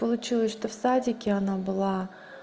получилось что в садике она была